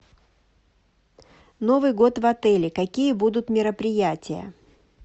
новый год в отеле какие будут мероприятия